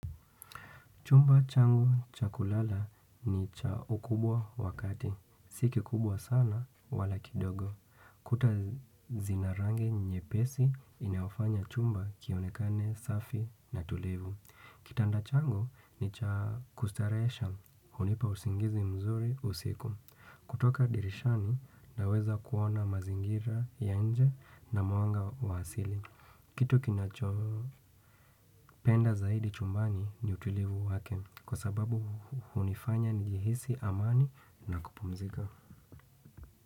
Chumba changu chakulala ni cha ukubwa wakati. Siki kubwa sana wala kidogo. Kuta zina rangi nyepesi inafanya chumba kionekane safi na tulevu. Kitanda changu ni cha kustarehesha hunipa usingizi mzuri usiku. Kutoka dirishani naweza kuona mazingira ya nje na mwanga wa asili kitu kinacho penda zaidi chumbani ni utulivu wake kwa sababu hunifanya nijihisi amani na kupumzika.